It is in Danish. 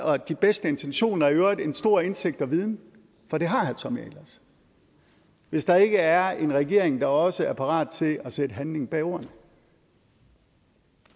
og de bedste intentioner og i øvrigt en stor indsigt og viden for det har herre tommy ahlers hvis der ikke er en regering der også er parat til at sætte handling bag ordene